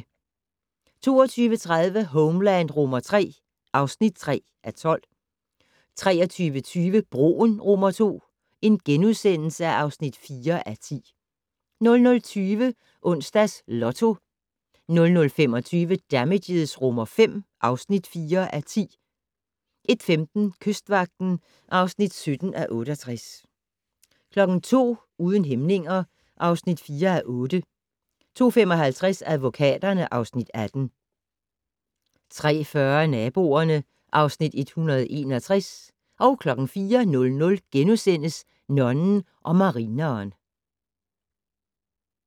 22:30: Homeland III (3:12) 23:20: Broen II (4:10)* 00:20: Onsdags Lotto 00:25: Damages V (4:10) 01:15: Kystvagten (17:68) 02:00: Uden hæmninger (4:8) 02:55: Advokaterne (Afs. 18) 03:40: Naboerne (Afs. 161) 04:00: Nonnen og marineren *